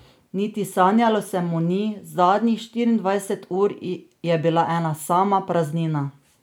Niti sanjalo se mu ni, zadnjih štiriindvajset ur je bila ena sama praznina.